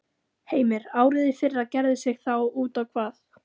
Heimir: Árið í fyrra gerði sig þá út á hvað?